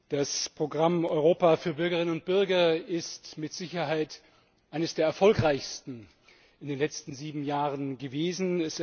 Das Programm Europa für Bürgerinnen und Bürger ist mit Sicherheit eines der erfolgreichsten in den letzten sieben Jahren gewesen.